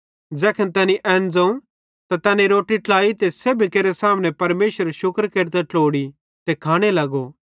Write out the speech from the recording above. ज़ैखन तैनी एन ज़ोवं त तैनी रोट्टी ट्लाई ते सेब्भी केरे सामने परमेशरेरू शुक्र केरतां ट्लोड़ी ते खाने लगो